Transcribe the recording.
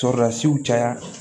Sɔrɔlasiw caya